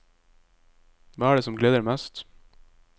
Hva er det som gleder mest?